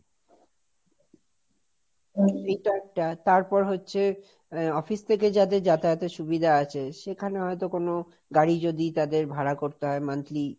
এটা একটা, তারপর হচ্ছে, office থেকে যাদের যাতায়াতের সুবিধা আছে, সেখানে হয়তো কোনো গাড়ি যদি তাদের ভাড়া করতে হয় monthly,